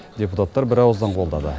депутаттар бірауыздан қолдады